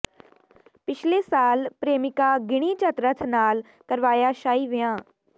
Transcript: ਪਿਛਲੇ ਸਾਲ ਪ੍ਰੇਮਿਕਾ ਗਿਨੀ ਚਤਰਥ ਨਾਲ ਕਰਵਾਇਆ ਸ਼ਾਹੀ ਵਿਆਹ